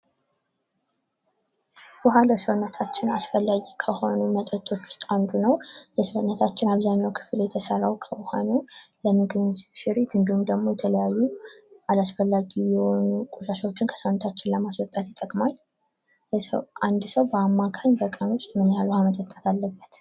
ውኃ ለሰውነታችን አስፈላጊ ከሆነ መጠጦች ውስጥ አንዱ ነው። የሰውነታችን አብዛኛው ክፍል የተሰራው ከውሃ ነው። ለምግብም እሽክርክሪት እንዲሁም ደግሞ ለተለያዩ አላስፈላጊ የሆኑ ቆሻሻዎችን ከሰውነታችን ለማስወጣት ይጠቅማል። አንድ ሰው በአማካኝ በቀን ውስጥ ምን ያህል ውሃ መጠጣት አለበት?